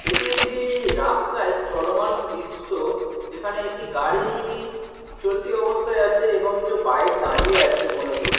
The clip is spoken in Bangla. এটি একটি রাস্তাই চলমান দিশ্য যেখানে একটি গাড়ি চলতি অবস্থায় আছে এবং একটা বাইক দাঁড়িয়ে আছে মূলত।